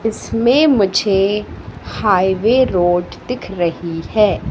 इसमें मुझे highway road दिख रही है।